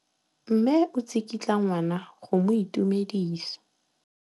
Mme o tsikitla ngwana go mo itumedisa.